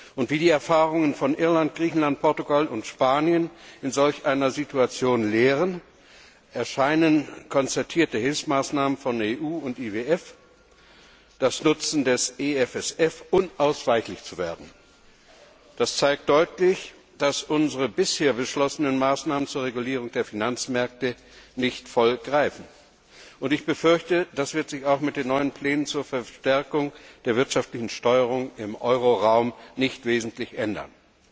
Und wie die Erfahrungen von Irland, Griechenland, Portugal und Spanien in solch einer Situation lehren, erscheinen konzertierte Hilfsmaßnahmen von EU und IWF und der Einsatz der EFSF unausweichlich zu werden. Das zeigt deutlich, dass unsere bisher beschlossenen Maßnahmen zur Regulierung der Finanzmärkte nicht voll greifen. Ich befürchte, das wird sich auch mit den neuen Plänen zur Verstärkung der wirtschaftlichen Steuerung im Euroraum nicht wesentlich ändern.